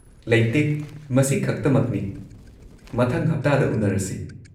ꯂꯩꯇꯦ, ꯃꯁꯤꯈꯛꯇꯃꯛꯅꯤ, ꯃꯊꯪ ꯍꯞꯇꯥꯗ ꯎꯟꯅꯔꯁꯤ꯫